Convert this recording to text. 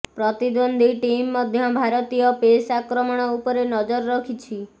ପ୍ରତିଦ୍ୱନ୍ଦ୍ୱୀ ଟିମ୍ ମଧ୍ୟ ଭାରତୀୟ ପେସ୍ ଆକ୍ରମଣ ଉପରେ ନଜର ରଖିଛି